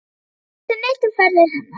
Enginn vissi neitt um ferðir hennar.